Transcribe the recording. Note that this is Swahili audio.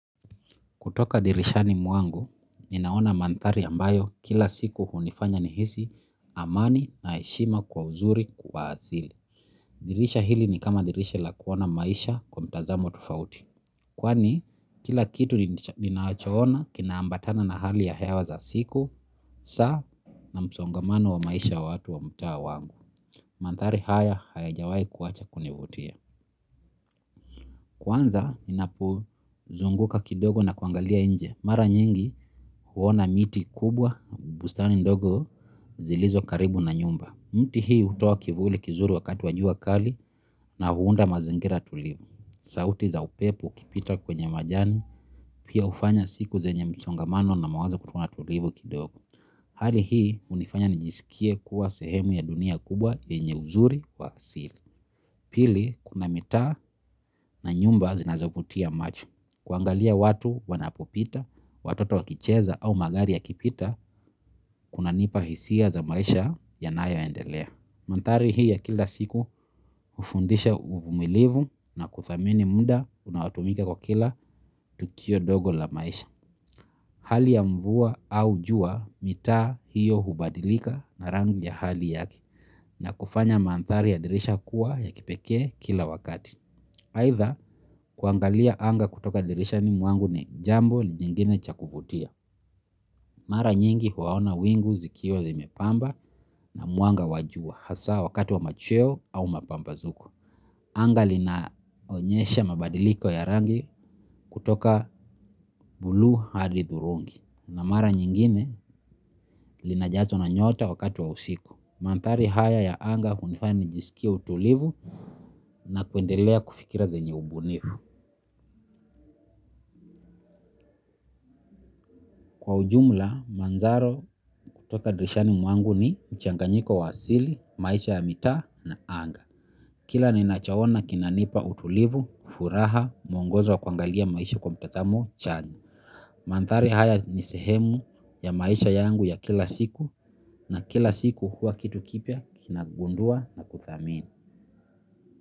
Kutoka dirishani mwangu, ninaona mandhari ambayo kila siku hunifanya ni hisi amani na heshima kwa uzuri kwa asili. Dirisha hili ni kama dirisha la kuona maisha kwa mtazamo tofauti. Kwani, kila kitu ninachoona kina ambatana na hali ya hewa za siku, saa na msongamano wa maisha wa watu wa mtaa wangu. Mandhari haya haya jawai kuwacha kunivutia. Kwanza, ninapo zunguka kidogo na kuangalia nje. Mara nyingi huona miti kubwa, bustani ndogo zilizo karibu na nyumba. Mti hii hutoa kivuli kizuri wakati wa jua kali na huunda mazingira tulivu. Sauti za upepo ukipita kwenye majani, pia hufanya siku zenye msongamano na mawazo kuwa tulivu kidogo. Hali hii hunifanya nijisikie kuwa sehemu ya dunia kubwa lenye uzuri wa asili. Pili kuna mitaa na nyumba zinazovutia macho. Kuangalia watu wanapopita, watoto wakicheza au magari yakipita, kuna nipa hisia za maisha ya nayo endelea. Mandhari hii ya kila siku hufundisha uvumilivu na kudhamini muda unaotumika katika kila tukio dogo la maisha. Hali ya mvua au jua mitaa hiyo hubadilika na rangi ya hali yake na kufanya mandhari ya dirisha kuwa ya kipekee kila wakati. Aitha kuangalia anga kutoka dirishani mwangu ni jambo lingine cha kuvutia. Mara nyingi huona wingu zikiwa zimepamba na mwanga wa jua hasa wakati wa machweo au mapambazuko. Anga linaonyesha mabadiliko ya rangi kutoka bulu hadi thurungi. Na mara nyingine linajazwa na nyota wakati wa usiku. Mandhari haya ya anga hunifanya nijisikie utulivu na kuendelea kufikira zenye ubunifu. Kwa ujumla, manzaro kutoka dirishani mwangu ni mchanganyiko wa asili, maisha ya mitaa na anga. Kila ni nachaona kinanipa utulivu, furaha, muongozo wa kuangalia maisha kwa mtazamo, chanya. Mandhari haya ni sehemu ya maisha yangu ya kila siku na kila siku huwa kitu kipya kinagundua na kuthamini.